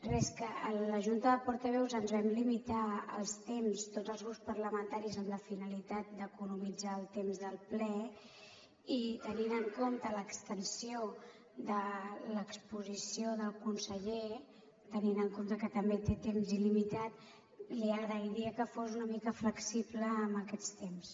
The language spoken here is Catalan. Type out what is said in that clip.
res que a la junta de portaveus ens vam limitar els temps tots els grups parlamentaris amb la finalitat d’economitzar el temps del ple i tenint en compte l’extensió de l’exposició del conseller tenint en compte que també té temps il·limitat li agrairia que fos una mica flexible amb aquests temps